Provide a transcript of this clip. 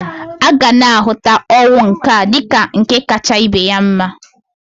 Agana ahụta ọnwụ nka dịka nke kacha ibe ya mma.